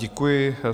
Děkuji.